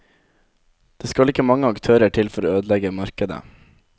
Det skal ikke mange aktører til for å ødelegge markedet.